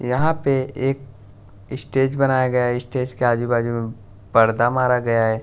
यहां पे एक स्टेज बनाया गया स्टेज के आजू बाजू में पर्दा मारा गया है।